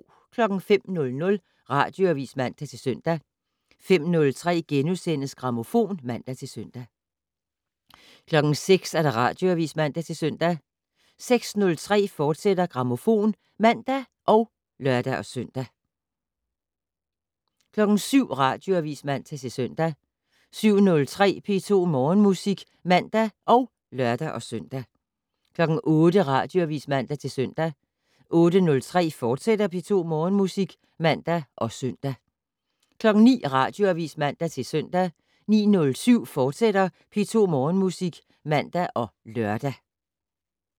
05:00: Radioavis (man-søn) 05:03: Grammofon *(man-søn) 06:00: Radioavis (man-søn) 06:03: Grammofon, fortsat (man og lør-søn) 07:00: Radioavis (man-søn) 07:03: P2 Morgenmusik (man og lør-søn) 08:00: Radioavis (man-søn) 08:03: P2 Morgenmusik, fortsat (man og søn) 09:00: Radioavis (man-søn) 09:07: P2 Morgenmusik, fortsat (man og lør)